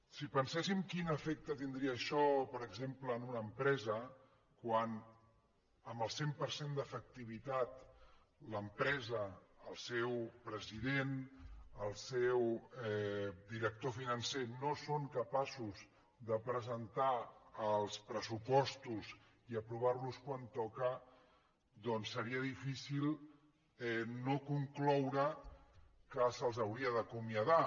si penséssim quin efecte tindria això per exemple en una empresa quan amb el cent per cent d’efectivitat l’empresa el seu president el seu director financer no són capaços de presentar els pressupostos i aprovar los quan toca doncs seria difícil no concloure que se’ls hauria d’acomiadar